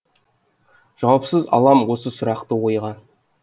жауапсыз алам осы сұрақты ойға